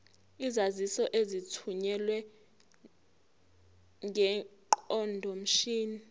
izaziso ezithunyelwe ngeqondomshini